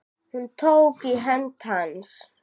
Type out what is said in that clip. Hún tók í hönd hans.